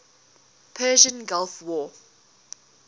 persian gulf war